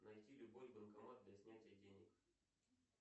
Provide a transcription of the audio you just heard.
найти любой банкомат для снятия денег